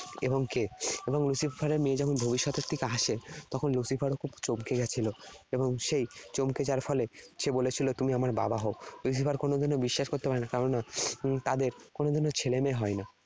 এবং কে। এবং Lucifer এর মেয়ে যখন ভবিষ্যতের থেকে আসে, তখন Lucifer ও খুব চমকে গেছিল এবং সে চমকে যাওয়ার ফলে সে বলেছিল 'তুমি আমার বাবা হও'। Lucifer কোনোদিনও বিশ্বাস করতে পারেনা কেননা এর তাদের কোনোদিনও ছেলেমেয়ে হয়না।